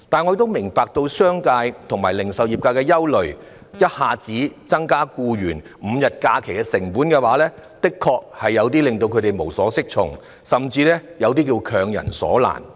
我亦明白商界和零售業界的憂慮，要一下子應付額外給予僱員5天假期所帶來的成本，確會令他們無所適從，甚至是強人所難。